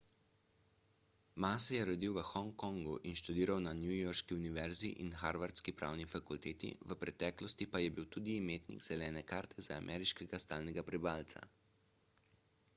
ma se je rodil v hongkongu in študiral na newyorški univerzi in harvardski pravni fakulteti v preteklosti pa je bil tudi imetnik zelene karte za ameriškega stalnega prebivalca